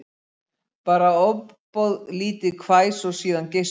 Bara ofboðlítið hvæs og síðan geispi